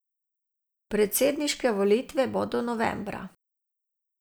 Predsedniške volitve bodo novembra.